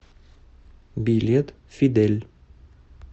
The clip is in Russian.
билет фидель